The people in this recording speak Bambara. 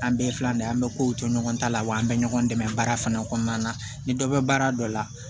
An bɛɛ filɛ nin ye an bɛ kow to ɲɔgɔn ta la wa an bɛ ɲɔgɔn dɛmɛ baara fana kɔnɔna na ni dɔ bɛ baara dɔ la